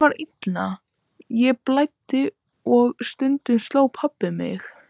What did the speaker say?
Mér var illt, mér blæddi og stundum sló pabbi mig.